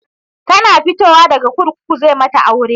Tana fitowa daga kurkuku zai mata aure